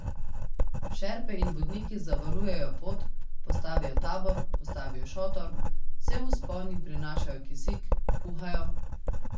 Šerpe in vodniki zavarujejo pot, postavijo tabor, postavijo šotor, cel vzpon jim prinašajo kisik, kuhajo ...